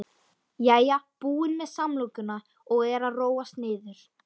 Jæja, búin með samlokuna og er að róast niður.